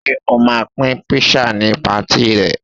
Ṣé o ma pín kpísà ni patí ì rẹ